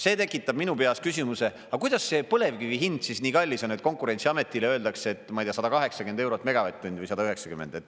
See tekitab minu peas küsimuse, aga kuidas see põlevkivi hind nii kallis on, et Konkurentsiametile öeldakse, et, ma ei tea, 180 eurot megavatt-tund või 190.